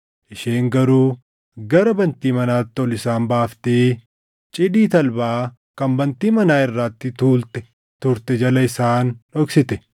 Isheen garuu gara bantii manaatti ol isaan baaftee cidii talbaa kan bantii manaa irratti tuultee turte jala isaan dhoksite.